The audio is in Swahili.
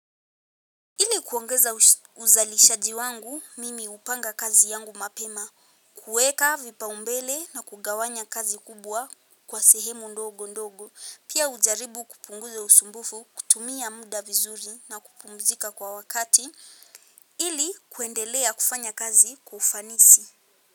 Ili kuongeza uzalishaji wangu, mimi hupanga kazi yangu mapema, kueka vipaumbele na kugawanya kazi kubwa kwa sehemu ndogo ndogo, pia hujaribu kupunguza usumbufu, kutumia muda vizuri na kupumzika kwa wakati, ili kuendelea kufanya kazi kwa ufanisi.